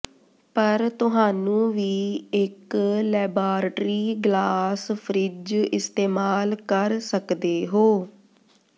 ਪਰ ਤੁਹਾਨੂੰ ਵੀ ਇੱਕ ਲੈਬਾਰਟਰੀ ਗਲਾਸ ਫਰਿੱਜ ਇਸਤੇਮਾਲ ਕਰ ਸਕਦੇ ਹੋ